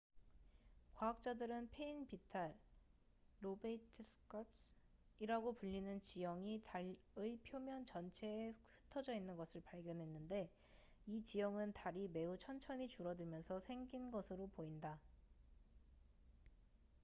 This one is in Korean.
과학자들은 패인 비탈lobate scarps이라고 불리는 지형이 달의 표면 전체에 흩어져 있는 것을 발견했는데 이 지형은 달이 매우 천천히 줄어들면서 생긴 것으로 보인다